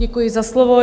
Děkuji za slovo.